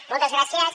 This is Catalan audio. moltes gràcies